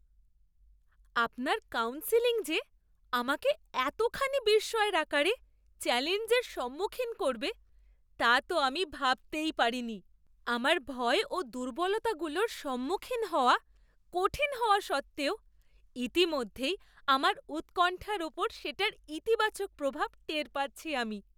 আপনার কাউন্সেলিং যে আমাকে এতখানি বিস্ময়ের আকারে চ্যলেঞ্জের সম্মুখীন করবে তা তো আমি ভাবতেই পারিনি! আমার ভয় ও দুর্বলতাগুলোর সম্মুখীন হওয়া কঠিন হওয়া সত্ত্বেও ইতিমধ্যেই আমার উৎকণ্ঠার ওপর সেটার ইতিবাচক প্রভাব টের পাচ্ছি আমি।